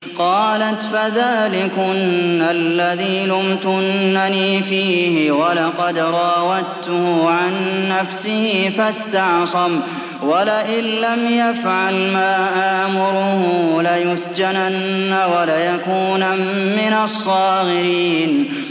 قَالَتْ فَذَٰلِكُنَّ الَّذِي لُمْتُنَّنِي فِيهِ ۖ وَلَقَدْ رَاوَدتُّهُ عَن نَّفْسِهِ فَاسْتَعْصَمَ ۖ وَلَئِن لَّمْ يَفْعَلْ مَا آمُرُهُ لَيُسْجَنَنَّ وَلَيَكُونًا مِّنَ الصَّاغِرِينَ